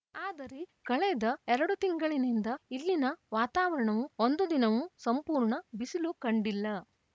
ಆದರೆ ಕಳೆದ ಎರಡು ತಿಂಗಳಿನಿಂದ ಇಲ್ಲಿನ ವಾತಾವರಣವು ಒಂದು ದಿನವೂ ಸಂಪೂರ್ಣ ಬಿಸಿಲು ಕಂಡಿಲ್ಲ